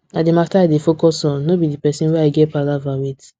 na the matter i dey focus on no be the person way i get palava with